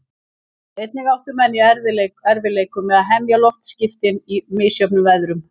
Einnig áttu menn í erfiðleikum með að hemja loftskipin í misjöfnum veðrum.